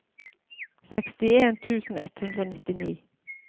sekstien tusen ett hundre og nittini